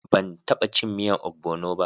Ban taba cin miyan ogbono ba.